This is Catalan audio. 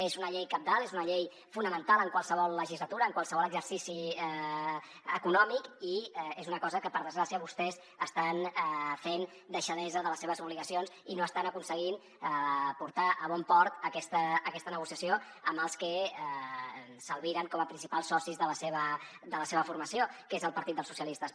és una llei cabdal és una llei fonamental en qualsevol legislatura en qualsevol exercici econòmic i és una cosa en què per desgràcia vostès estan fent deixadesa de les seves obligacions i no estan aconseguint portar a bon port aquesta negociació amb els que s’albiren com a principals socis de la seva formació que és el partit dels socialistes